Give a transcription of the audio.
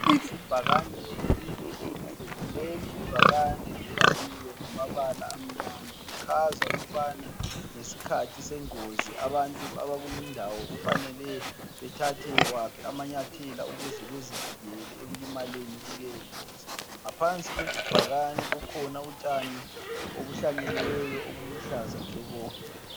Ibhakane elide elimhlophe. Leli ibhakane libhaliwe ngamabala amnyama. Lichaza ukubana ngesikhathi sengozi abantu abakulindawo kufanele bethathe waphi amanyathelo ukuze bazivikele ekulimaleni kuleyo ngozi. Ngaphansi kwebhakane kukhona utshani obuhlanyeliweyo obuluhlaza tshoko.